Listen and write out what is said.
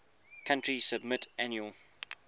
country submit annual